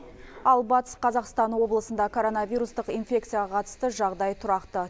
ал батыс қазақстан облысында коронавирустық инфекцияға қатысты жағдай тұрақты